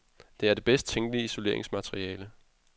Det er det bedst tænkelige isoleringsmateriale.